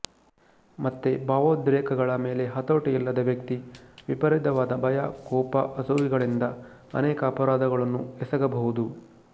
ಮತ್ತು ಭಾವೋದ್ರೇಕಗಳ ಮೇಲೆ ಹತೋಟಿ ಇಲ್ಲದ ವ್ಯಕ್ತಿ ವಿಪರೀತವಾದ ಭಯ ಕೋಪ ಅಸೂಯೆಗಳಿಂದ ಅನೇಕ ಅಪರಾಧಗಳನ್ನು ಎಸಗಬಹುದು